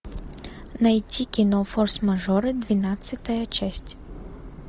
найти кино форс мажоры двенадцатая часть